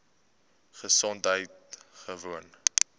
gesondheidgewoon